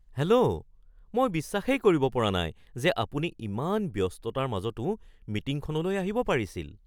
Hello! মই বিশ্বাসেই কৰিব পৰা নাই যে আপুনি ইমান ব্যস্ততাৰ মাজতো মিটিংখনলৈ আহিব পাৰিছিল !